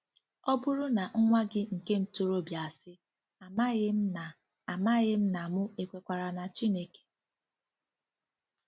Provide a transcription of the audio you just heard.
Ọ bụrụ na nwa gị nke ntorobịa asị: “ Amaghịm na Amaghịm na mụ ekwekwara na Chineke.”